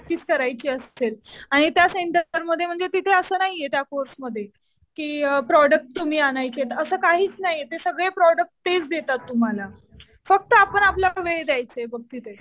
Practice करायची असेल आणि त्या सेंटरमध्ये म्हणजे तिथे असं नाहीये त्या कोर्समध्ये कि प्रोडक्ट तुम्ही आणायचेत असं काहीच नाही. सगळे प्रोडक्ट तेच देतात तुम्हाला. फक्त आपण आपला वेळ द्यायचा बघ तिथे.